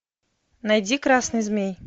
найди красный змей